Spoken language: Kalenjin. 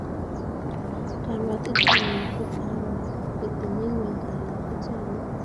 Karwotitennyu ko aro kotinye ng'ony kalyet ak chamyet.